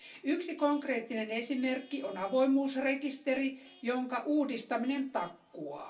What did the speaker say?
Yksi konkreettinen esimerkki on avoimuusrekisteri, jonka uudistaminen takkuaa.